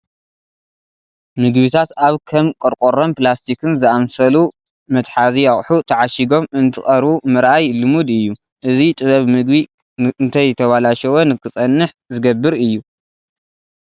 ምግብታት ኣብ ከም ቆርቆሮን ፕላስቲክን ዝኣምሰሉ መትሓዚ ኣቑሑ ተዓሺጐም እንትቐርቡ ምርኣይ ልሙድ እዩ፡፡ እዚ ጥበብ ምግቢ እንተይተበላሸወ ንክፀንሕ ዝገብር እዩ፡፡